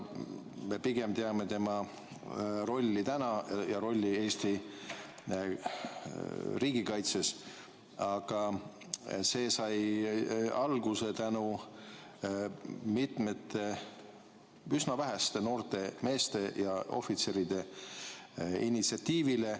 Me pigem teame tema rolli praegu ja rolli Eesti riigikaitses, aga see sai alguse tänu mitmete üsna väheste noorte meeste ja ohvitseride initsiatiivile.